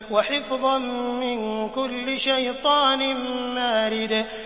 وَحِفْظًا مِّن كُلِّ شَيْطَانٍ مَّارِدٍ